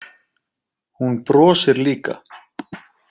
Hún brosir líka.